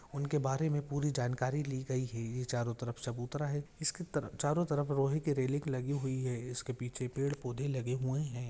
उनके बारे मे पुरी जानकारी ली गई है ये चारो तरफ चबुतरा है इसके चारो तरफ लोहे कि रेलिंग लगी हुई है इसके पीछे पेड पौधे लगे हुये है।